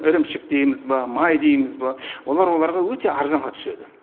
ірімшік дейміз ба май дейміз ба олар оларға өте арзанға түседі